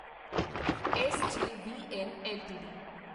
SJVN LTD